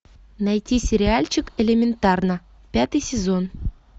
найти сериальчик элементарно пятый сезон